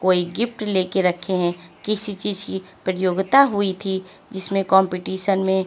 कोई गिफ्ट लेकर रखे हैं किसी चीज की प्रतियोगिता हुई थी जिसमें कंपटीशन में--